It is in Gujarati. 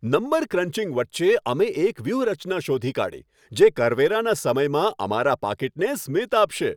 નંબર ક્રંચિંગ વચ્ચે, અમે એક વ્યૂહરચના શોધી કાઢી જે કરવેરાના સમયમાં અમારા પાકીટને સ્મિત આપશે!